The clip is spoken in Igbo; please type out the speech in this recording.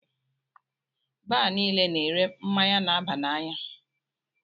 Baar niile na -ere mmáñyá na-aba n'anya.